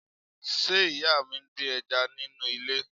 Ṣé ìyá mi ń dín ẹja nínú ilé?